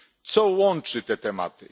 Co łączy te tematy?